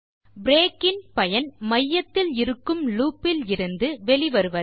break இன் பயன் மையத்தில் இருக்கும் லூப்பில் இருந்து வெளி வருவது